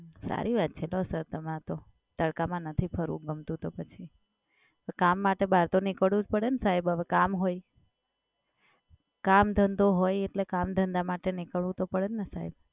સારી વાત છે તો સર તમારે તો. તડકામાં નથી ફરવું ગમતું તો પછી. તો કામ માટે બહાર તો નીકળવું જ પડે ને સાહેબ હવે કામ હોય. કામ ધંધો હોય એટલે કામ માટે તો નીકળવું તો પડે ને સાહેબ.